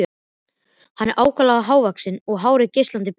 Hann var ákaflega hávaxinn og hárið geislandi bjart.